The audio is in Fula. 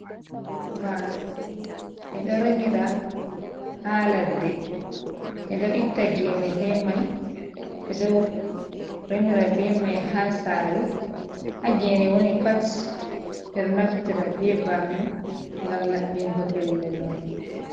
Banow min ɗo remira ha ladde, minɗo itta gene be mai be ɗo remira be mai ha sare ha gene woni pat ɓe naftira be bano ngam labbingo pellel mai.